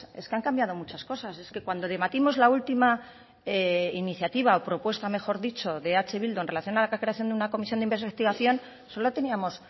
es que han cambiado muchas cosas es que cuando debatimos la última iniciativa o propuesta mejor dicho de eh bildu en relación a la creación de una comisión de investigación solo teníamos